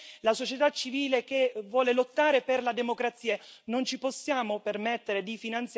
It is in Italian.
Questo lo dico perché noi dobbiamo sostenere la società civile che vuole lottare per la democrazia.